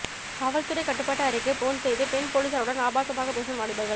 காவல்துறை கட்டுப்பாட்டு அறைக்கு போன் செய்து பெண் போலீசாருடன் ஆபாசமாக பேசும் வாலிபர்கள்